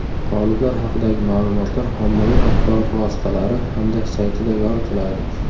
G‘oliblar haqidagi ma’lumotlar ommaviy axborot vositalari hamda saytida yoritiladi.